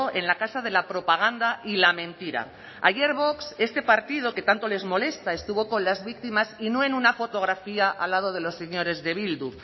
en la casa de la propaganda y la mentira ayer vox este partido que tanto les molesta estuvo con las víctimas y no en una fotografía al lado de los señores de bildu